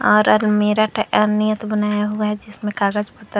बनाया हुआ है जिसमें कागज पत्तर--